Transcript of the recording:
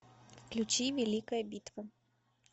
включи великая битва